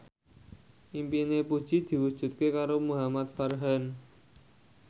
impine Puji diwujudke karo Muhamad Farhan